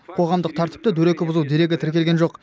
қоғамдық тәртіпті дөрекі бұзу дерегі тіркелген жоқ